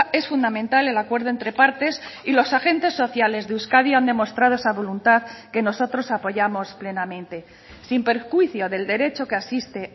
es fundamental el acuerdo entre partes y los agentes sociales de euskadi han demostrado esa voluntad que nosotros apoyamos plenamente sin perjuicio del derecho que asiste